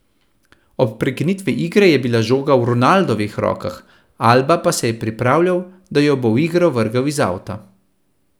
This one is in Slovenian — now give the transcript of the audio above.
Ob prekinitvi igre je bil žoga v Ronaldovih rokah, Alba pa se je pripravljal, da jo bo v igro vrgel iz avta.